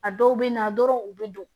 A dɔw bɛ na dɔrɔn u bɛ don